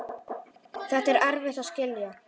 Þetta er erfitt að skilja.